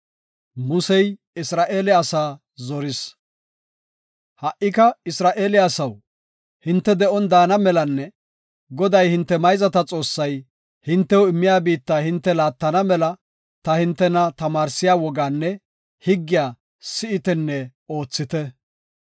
Ha77ika Isra7eele asaw, hinte de7on daana melanne Goday, hinte mayzata Xoossay, hintew immiya biitta hinte laattana mela ta hintena tamaarsiya wogaanne higgiya si7itenne oothite.